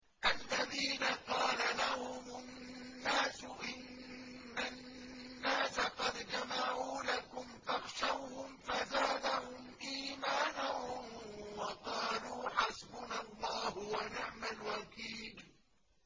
الَّذِينَ قَالَ لَهُمُ النَّاسُ إِنَّ النَّاسَ قَدْ جَمَعُوا لَكُمْ فَاخْشَوْهُمْ فَزَادَهُمْ إِيمَانًا وَقَالُوا حَسْبُنَا اللَّهُ وَنِعْمَ الْوَكِيلُ